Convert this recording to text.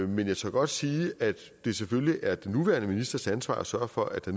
men jeg tør godt sige at det selvfølgelig er den nuværende ministers ansvar at sørge for at